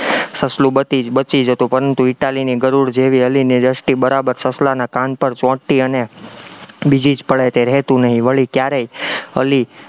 સસલું બચી બચી જતું પરંતુ ઇટાલીની ગરુડ જેવી અલીની દ્રષ્ટિ બરાબર સસલાના કાન પણ ચોંટતી અને બીજી જ પળે તે રહેતું નહિ વળી ક્યારેય અલી